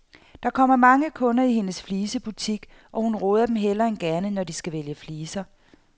Der kommer mange kunder i hendes flisebutik, og hun råder dem hellere end gerne, når de skal vælge fliser.